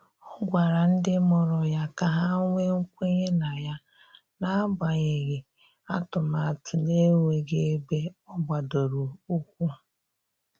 Ọ gwara ndị mụrụ ya ka ha nwee kwenye na ya, n'agbanyeghị atụmatụ na-enweghị ebe ọ gbadoro ụkwụ.